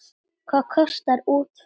Hvað kostar útför?